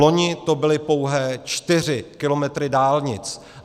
Vloni to byly pouhé 4 kilometry dálnic.